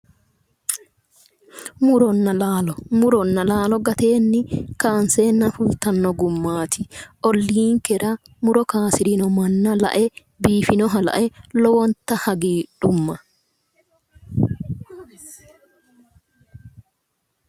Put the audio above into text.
Muronna laalo muronna laalo gateenni kaanseenna fultanno gummaati olliinkera muro kaasirino manna lae biifinoha lae lowonta hagiidhumma